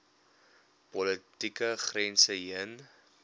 politieke grense heen